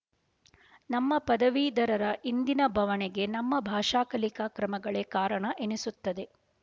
ನಮ್ಮ ಪದವೀಧರರ ಇಂದಿನ ಬವಣೆಗೆ ನಮ್ಮ ಭಾಷಾ ಕಲಿಕಾ ಕ್ರಮಗಳೇ ಕಾರಣ ಎನ್ನಿಸುತ್ತದೆ